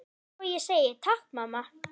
Svo ég segi: Takk mamma.